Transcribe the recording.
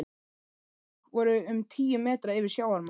Þau göng voru um tíu metra yfir sjávarmáli.